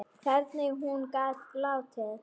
Hvernig hún gat látið.